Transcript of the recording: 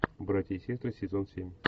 братья и сестры сезон семь